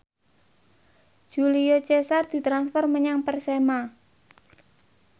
Julio Cesar ditransfer menyang Persema